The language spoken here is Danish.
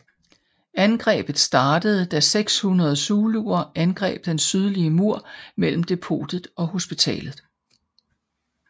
Angrebet startede da 600 zuluer angreb den sydlige mur mellem depotet og hospitalet